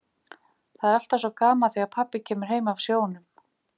Það er alltaf svo gaman þegar pabbi kemur heim af sjónum.